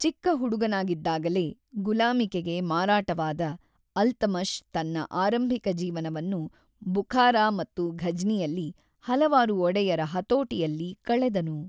ಚಿಕ್ಕ ಹುಡುಗನಾಗಿದ್ದಾಗಲೇ ಗುಲಾಮಿಕೆಗೆ ಮಾರಾಟವಾದ ಅಲ್ತಮಷ್ ತನ್ನ ಆರಂಭಿಕ ಜೀವನವನ್ನು ಬುಖಾರಾ ಮತ್ತು ಘಜ್ನಿಯಲ್ಲಿ ಹಲವಾರು ಒಡೆಯರ ಹತೋಟಿಯಲ್ಲಿ ಕಳೆದನು.